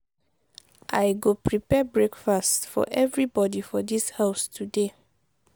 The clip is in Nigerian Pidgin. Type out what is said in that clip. i go prepare breakfast for everybodi for dis house today.